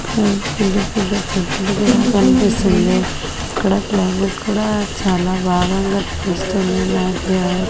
ఇక్కడ పెద్ద-పెద్ద చెట్లు కూడా కనిపిస్తుంది. ఇక్కడ క్లైమేట్ కూడా చాలా బాగా కనిపిస్తుంది నాకి.